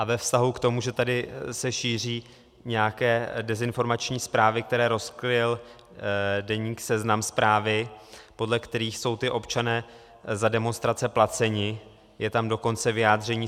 A ve vztahu k tomu, že tady se šíří nějaké dezinformační zprávy, které rozkryl deník Seznam zprávy, podle kterých jsou ti občané za demonstrace placeni, je tam dokonce vyjádření.